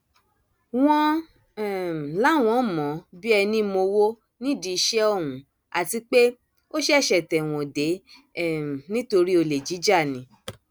wọn um láwọn mọ ọn bíi ẹní mowó nídìí iṣẹ ọhún àti pé ó ṣẹṣẹ tẹwọn dé um nítorí olè jíjà ni